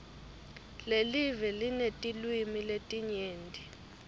lelive linetilwimi letinyenti